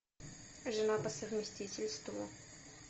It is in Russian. жена по совместительству